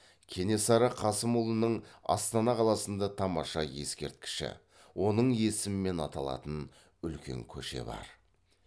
кенесары қасымұлының астана қаласында тамаша ескерткіші оның есімімен аталатын үлкен көше бар